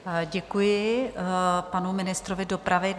Děkuji panu ministrovi dopravy.